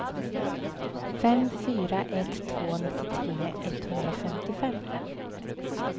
fem fyra ett två nittiotre etthundrafemtiofem